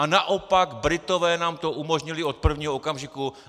A naopak, Britové nám to umožnili od prvního okamžiku.